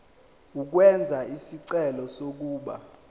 ukwenza isicelo sokuba